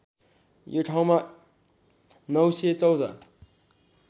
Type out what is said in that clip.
यो ठाउँमा ९१४